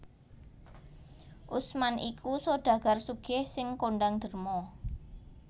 Utsman iku sodagar sugih sing kondhang derma